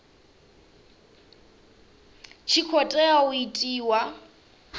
tshi khou tea u itiwa